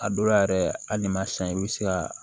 A dɔw la yɛrɛ hali ni ma san i bɛ se ka